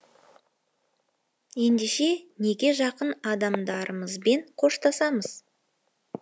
ендеше неге жақын адамдарымызбен қоштасамыз